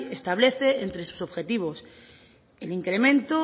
establece entre sus objetivos el incremento